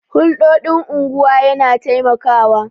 Hulɗoɗin unguwa yana taimakawa